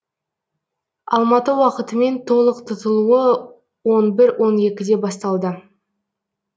алматы уақытымен толық тұтылуы он бір он екіде басталды